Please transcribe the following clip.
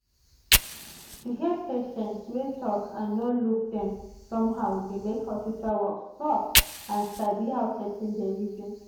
to hear patient um talk and no look dem somehow dey make hospital work soft and sabi how person dey reason.